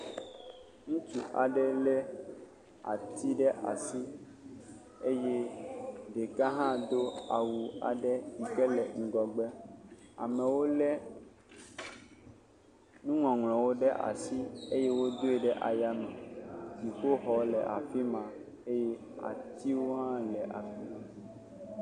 Ŋutsu aɖe lé ati ɖe asi eye ɖeka hã do awu aɖe yi ke le ŋgɔgbe. Amewo lé nuŋɔŋlɔ ɖe asi eye wodoe ɖe ayame. Dziƒoxɔwo le afi ma eye atiwo hã le afi ma.